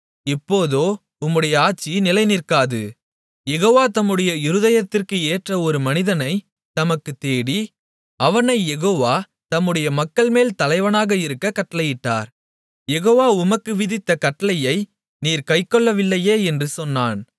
இப்போதோ உம்முடைய ஆட்சி நிலைநிற்காது யெகோவா தம்முடைய இருதயத்திற்கு ஏற்ற ஒரு மனிதனைத் தமக்குத் தேடி அவனைக் யெகோவா தம்முடைய மக்கள்மேல் தலைவனாக இருக்கக் கட்டளையிட்டார் யெகோவா உமக்கு விதித்த கட்டளையை நீர் கைக்கொள்ளவில்லையே என்று சொன்னான்